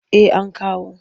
Eh an kawo.